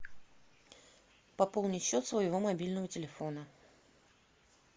пополнить счет своего мобильного телефона